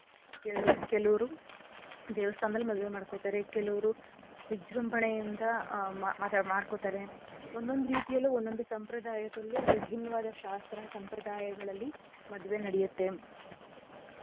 ಕೆಲುವ್ರು ದೇವಸ್ಥಾನದಲ್ ಮದ್ವೆ ಮಾಡ್ಕೊತಾರೆ. ಕೆಲವ್ರು ವಿಜೃಂಭಣೆಯಿಂದ ಆ ಮಾಡ್ಕೋತಾರೆ. ಒಂದೊಂದ್ ರೀತಿಯಲ್ಲೂ ಒಂದೊಂದು ಸಂಪ್ರದಾಯದಲ್ಲೂ ವಿಭಿನ್ನವಾದ ಶಾಸ್ತ್ರ ಸಂಪ್ರದಾಯಗಳಲ್ಲಿ ಮದ್ವೆ ನಡೆಯತ್ತೆ.